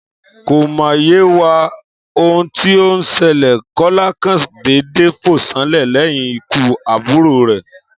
Kò mà yé wa ohun tí ó n selè, Kólá kàn dédé fò sánlè léyìn ikú àbùrò rè